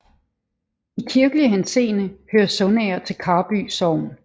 I kirkelig henseende hører Sundsager til Karby Sogn